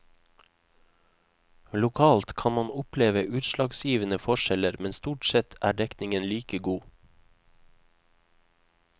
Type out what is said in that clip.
Lokalt kan man oppleve utslagsgivende forskjeller, men stort sett er dekningen like god.